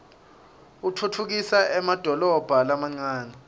utfutfukisa emadolobha lamancane